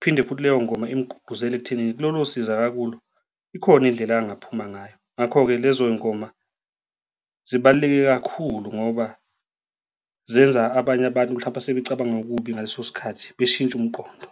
Phinde futhi leyo ngoma igqugquzele ekuthenini kulolo siza akakulo, ikhona indlela angaphuma ngayo. Ngakho-ke lezo y'ngoma zibaluleke kakhulu ngoba zenza abanye abantu mhlampe esebecabanga okubi ngaleso sikhathi beshintshe umqondo.